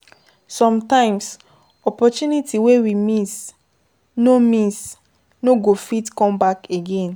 sometimes opportunity wey we miss no miss no go fit come back again